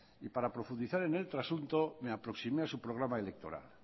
y para profundizar en el trasunto me aproximé a su programa electoral